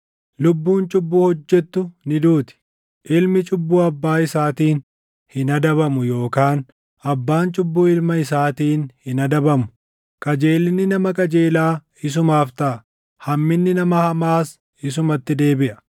Lubbuun cubbuu hojjettu ni duuti. Ilmi cubbuu abbaa isaatiin hin adabamu yookaan abbaan cubbuu ilma isaatiin hin adabamu. Qajeelinni nama qajeelaa isumaaf taʼa; hamminni nama hamaas isumatti deebiʼa.